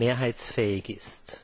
mehrheitsfähig ist.